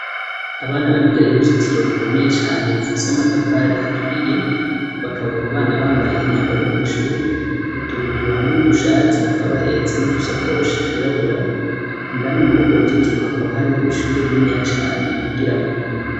Abana bari imbere y'uruzitiro rukomeye cane rufise amatafari aturiye bakaba abo bana bambaye imyambaro yo kwishuri utubutura hamwe n'udushati bakaba bahetse n'udusakoshi twirabura indani mururwo ruzitiro hakaba hariyo ishuri rininiya cane bigiramo.